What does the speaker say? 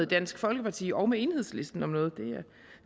dansk folkeparti og enhedslisten om noget